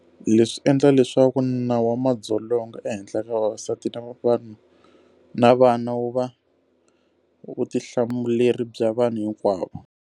Leswi swi endla leswaku nawu wa madzolonga ehenhla ka vavasati na vana wu va vutihlamuleri bya vanhu hinkwavo.